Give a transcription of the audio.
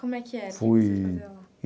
Como é que era? Fui...